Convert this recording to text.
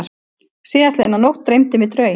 Síðastliðna nótt dreymdi mig draum.